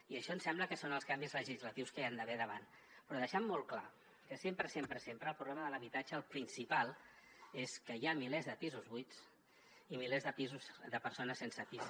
i això ens sembla que són els canvis legislatius que hi ha d’haver davant però deixant molt clar que sempre sempre sempre el problema de l’habitatge el principal és que hi ha milers de pisos buits i milers de persones sense pis